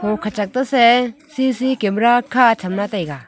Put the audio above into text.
ho khachak tese C C camera kha chamla taiga.